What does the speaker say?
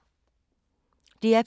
DR P2